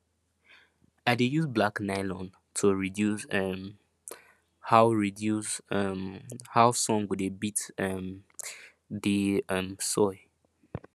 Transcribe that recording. i dey use black nylon to reduce um how reduce um how sun go dey beat um the um soil